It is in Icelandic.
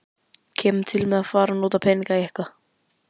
Kemur til með að fara að nota þá peninga eitthvað?